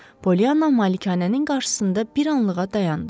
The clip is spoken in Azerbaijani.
Polyana malikanənin qarşısında bir anlığa dayandı.